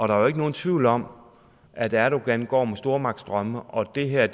der er jo ikke nogen tvivl om at erdogan går med stormagtsdrømme og det her er